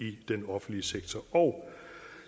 i den offentlige sektor og